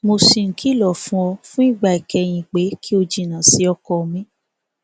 mo ṣì ń kìlọ fún ọ fún ìgbà ìkẹyìn pé kí o jìnnà sí ọkọ mi